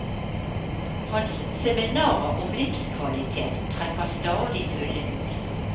Hans seminarer om livskvalitet trekker stadig fulle hus.